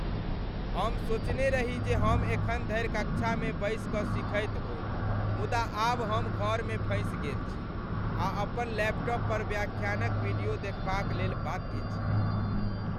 हम सोचने रही जे हम एखन धरि कक्षामे बैस कऽ सिखैत होयब, मुदा आब हम घरमे फँसि गेल छी आ अपन लैपटॉप पर व्याख्यानक वीडियो देखबाक लेल बाध्य छी।